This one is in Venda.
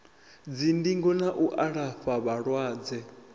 dzindingo na u alafha vhalwadze